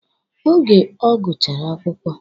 Oge o gụchara akwụkwọ.